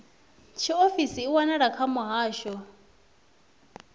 tshiofisi i wanala kha muhasho